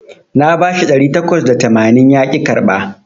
Na bashi ɗari takwas da tamanin yaƙi karɓa